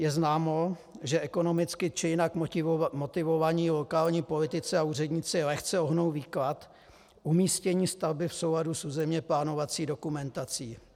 Je známo, že ekonomicky či jinak motivovaní lokální politici a úředníci lehce ohnou výklad umístění stavby v souladu s územně plánovací dokumentací.